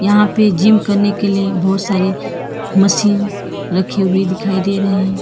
यहां पे जिम करने के लिए बहोत सारी मशीन रखी हुए दिखाई दे रहे हैं।